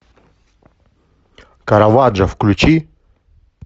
караваджо включи